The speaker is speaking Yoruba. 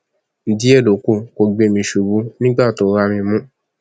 díẹ ló kù kó gbé mi ṣubú nígbà tó rá mi mú